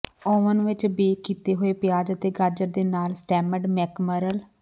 oven ਵਿਚ bake ਕੀਤੇ ਹੋਏ ਪਿਆਜ਼ ਅਤੇ ਗਾਜਰ ਦੇ ਨਾਲ ਸਟੈਮਡ ਮੈਕਮਰਲ